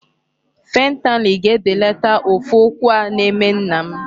Fentanyl ga-ebelata ụfụ ụkwụ a na-eme nna m.